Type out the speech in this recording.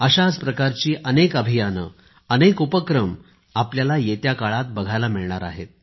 अशाच प्रकारचे अनेक अभियान अनेक उपक्रम आपल्याला येत्या काळात बघायला मिळणार आहेत